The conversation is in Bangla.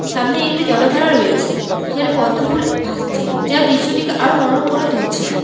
সামনে একটি জলধারা রয়েছে যেখানে পদ্মফুল ভাসছে যা দৃশ্যটিকে আরো মনোরম করে তুলছে।